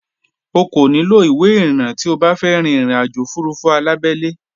O kò nílò ìwé ìrìnnà tí o bá fẹ́ rín ìrìnàjò òfurufú alábẹ́lé